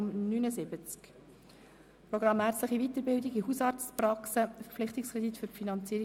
Im Herbst haben wir bereits dem gleichen Kredit für ein Jahr zugestimmt.